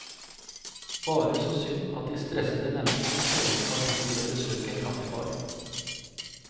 Bare så synd at de stressede menneskene sjelden har tid til å besøke en kaffebar.